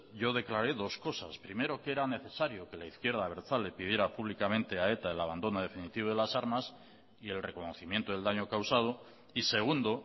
yo declaré dos cosas primero que era necesario que la izquierda abertzale pidiera públicamente a eta el abandono definitivo de las armas y el reconocimiento del daño causado y segundo